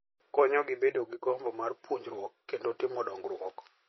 Konyogi bedo gi gombo mar puonjruok kendo timo dongruok.